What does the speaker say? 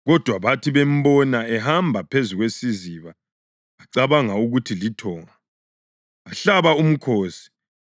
kodwa bathi bembona ehamba phezu kwesiziba bacabanga ukuthi lithonga. Bahlaba umkhosi